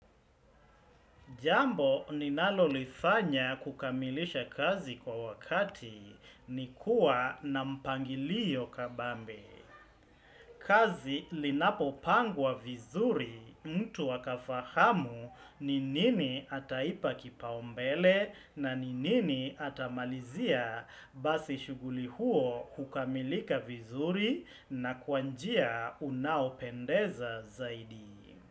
Jambo ninalo lifanya kukamilisha kazi kwa wakati ni kuwa na mpangilio kabambe. Kazi linapo pangwa vizuri mtu akafahamu ni nini ataipa kipaumbele na ni nini ata malizia basi shughuli huo hukamilika vizuri na kwanjia unaopendeza zaidi.